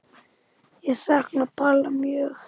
Ég sakna Palla mjög.